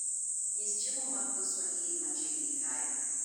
nyis chiemo mag dho Swahili machiegni kae